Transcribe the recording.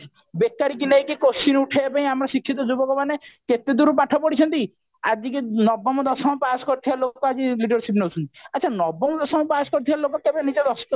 ବେକାରି କୁ ନେଇକି କୋୟେଶ୍ଚନ ଉଠେଇବା ପାଇଁ ଆମ ଶିକ୍ଷିତ ଯୁବକ ମାନେ କେତେ ଦୂର ପାଠ ପଢିଛନ୍ତି ଆଜି କି ନବମ ଦଶମ ପାସ କରିଥିବା ଲୋକ ଆଜି leadership ନଉଛନ୍ତି ଆଛା ନବମ ଦଶମ ପାସ କରିଥିବା ଲୋକ କେବେ ନିଜର